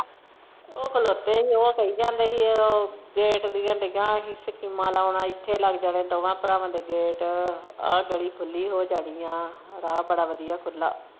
ਉਹ ਖਲੋਤੇ ਹੀ ਉਹ ਕਹਿ ਜਾਂਦੇ ਹੀ ਇਹ ਉਹ gate ਦੀਆਂ ਦਈਆਂ ਹੀ ਸਕੀਮਾਂ ਲਾਉਣ ਇਥੇ ਲੱਗ ਜਾਣੇ ਦੋਵਾਂ ਭਰਾਵਾਂ ਦੇ gate ਆਹ ਗਲੀ ਖੁੱਲੀ ਹੋ ਜਾਣੀ ਆ ਰਾਹ ਬੜਾ ਵਧੀਆ ਖੁੱਲ੍ਹਾ।